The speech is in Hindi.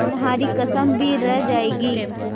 तुम्हारी कसम भी रह जाएगी